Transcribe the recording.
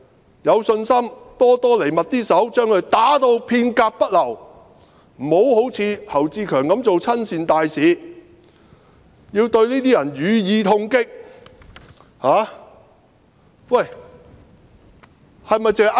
他有信心"多多嚟密啲手"，把他們打至片甲不流，不要好像侯志強般做親善大使，要對這些人予以痛擊。